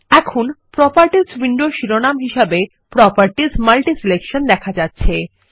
এখন প্রোপার্টিসউইন্ডোর শিরোনাম হিসাবে প্রপার্টিস মাল্টিসিলেকশন দেখা যাচ্ছে